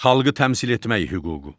Xalqı təmsil etmək hüququ.